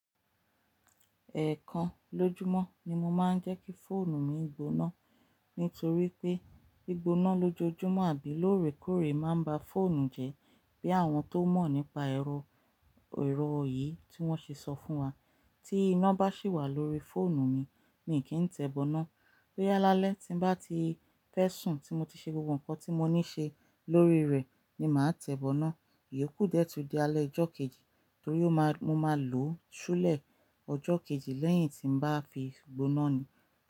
Ẹ̀ẹ̀kan lójúmọ́ ni mo máa ń jẹ́ kí fóònù mi gboná. Nítorí pé gbígbóná lójoojúmọ́ àbí lóòrèkóòrè máa ń ba fóònù jẹ́, bí àwọn tó mọ̀ nípa èrò yìí tí wọ́n ṣe sọ fún wa. Tí iná bá sì wà lórí fóònù mi, ni kí n tẹ̀ bọ́ná. Bóyá lálẹ́ tí bá ti fẹ́ sùn tí mo ti ṣe gbogbo ǹkan tí mo ní ṣe lórí rẹ̀ ni màá tẹ̀ bọ́ná. Èyí kú dẹ̀ tùn di alẹ́ ọjọ́ kejì torí mo máa lò ó ṣúlẹ̀ ọjọ́ kejì lẹ́yìn tí bá fi gbóná ni.